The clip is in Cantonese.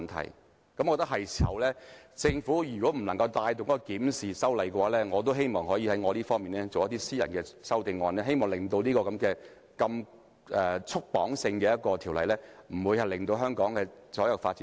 我認為現在是時候檢討，如果政府無法帶動修例，我也希望可以提出私人法案，放寬這項過度束縛的條例，使其不致窒礙香港所有發展。